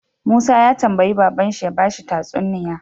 Musa ya tambayi babban shi ya bashi tatsuniya